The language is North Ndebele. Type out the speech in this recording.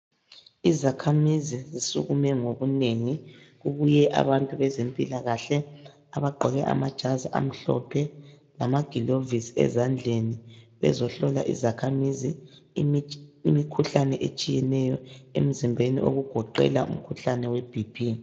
Izakhamizi zisukume ngobunengi. Kubuye abantu bezempilakahle abagqoke amajazi amhlophe lamagilovisi ezandleni , bezohlola izakhamizi imikhuhlane etshiyeneyo emizimbeni okugoqela umkhuhlane weBP.